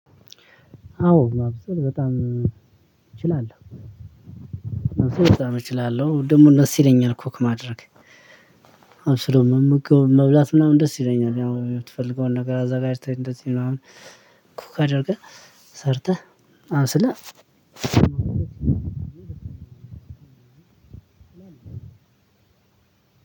አዎ። ማብሰል በጣም እችላለሁ እችላለሁ ደግሞም ደስ ይለኛል ኩክ ማድረግ። አብስሎ መመገብ መብላት ምናምን ደስ ይለኛል ያው የምትፈልገውን ነገር አዘጋጅተህ እንደዚህ ምናምን ኩክ አድርገህ ሰርተህ። አዎ ስለ